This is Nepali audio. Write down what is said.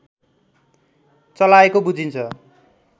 चलाएको बुझिन्छ